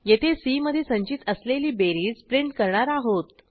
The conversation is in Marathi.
येथे सी मधे संचित असलेली बेरीज प्रिंट करणार आहोत